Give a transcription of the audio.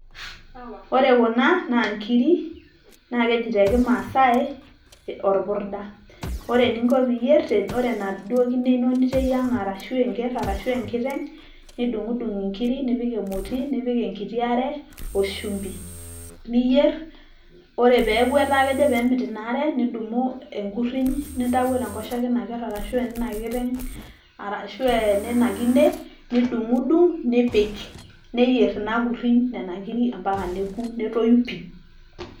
ore kuna naa inkiri, naa keji te kimaasai orpurda, ore eninko pee iyier ore enaduoo kine ino niteyieng'a arashu enker arashu enkiteng' nidung'udung' inkiri nipik emoti nibukoki enkiti are nipik shumbi. ninyer ore pee eeku kemit ina are nidumu enkuriny nintayio te nkoshoke eina ker arashu eneina kiteng' arashu eneina kine nidung'udung' nipik neyier ina kurinyi nena kiri mpaka neku netoyu pii.